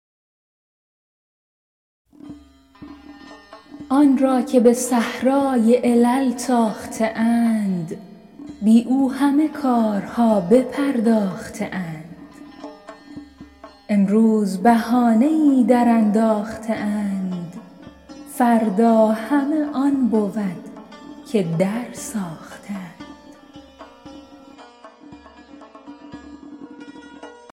آن را که به صحرای علل تاخته اند بی او همه کارها بپرداخته اند امروز بهانه ای درانداخته اند فردا همه آن بود که درساخته اند